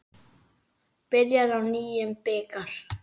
Byrjar á nýjum bikar.